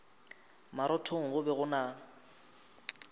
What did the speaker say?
marothong go be go na